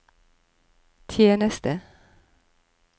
tjeneste